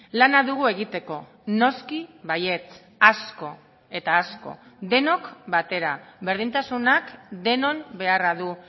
lana dugu egiteko noski baietz asko eta asko denok batera berdintasunak denon beharra du